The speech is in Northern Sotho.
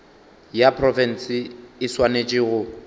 ya profense e swanetše go